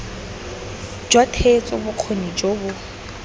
jwa theetso bokgoni jo bo